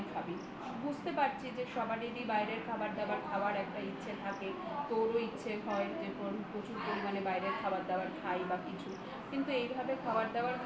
খাবি বাইরের খাবার দাবার খাবার একটা ইচ্ছা থাকে তোরও ইচ্ছা হয় যে প্রচুর পরিমাণে বাইরের খাবার খাই বা কিছু কিন্তু এইভাবে খাবার দাবার